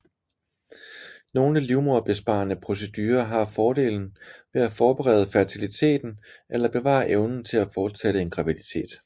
Nogle livmoderbesparende procedurer har fordelen ved at forbedre fertiliteten eller bevare evnen til at fortsætte en graviditet